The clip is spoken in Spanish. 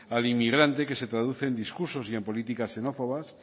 al inmigrante que se traduce en discursos y en políticas xenófobas